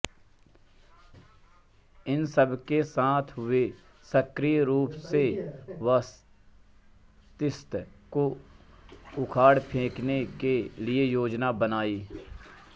इन सबके साथ वे सक्रिय रूप से बतिस्ता को उखाड़ फेंकने के लिए योजना बनाई